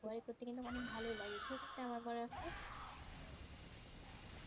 বই পড়তে ইঅনেক গেলে ভালো ই লাগে সেই ক্ষেত্রে আমার